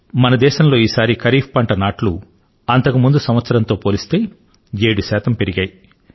మన దేశంలో ఈసారి ఖరీఫ్ పంట నాట్లు అంతకుముందు సంవత్సరం తో పోలిస్తే 7 శాతం పెరిగాయి